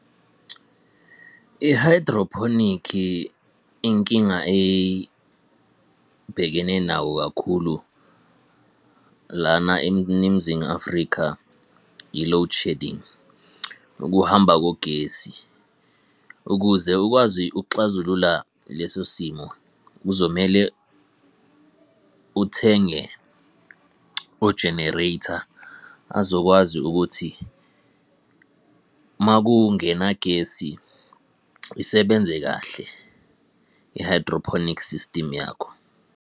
I-hydroponic inkinga ebhekene nawo kakhulu lana Afrika, i-loadshedding, ukuhamba kogesi. Ukuze ukwazi ukuxazulula leso simo kuzomele uthenge ojenereytha azokwazi ukuthi uma kungenagesi isebenze kahle i-hydroponic system yakho.